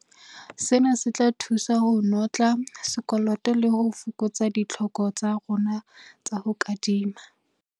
Sena se tla thusa ho notla sekoloto le ho fokotsa ditlhoko tsa rona tsa ho kadima.